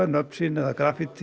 nöfn sín